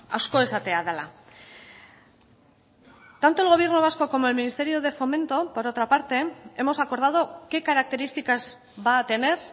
asko esatea dela tanto el gobierno vasco como el ministerio de fomento por otra parte hemos acordado qué características va a tener